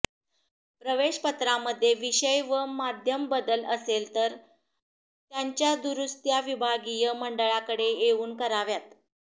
प्रवेशपत्रामध्ये विषय व माध्यम बदल असेल तर त्यांच्या दुरुस्त्या विभागीय मंडळाकडे येवून कराव्यात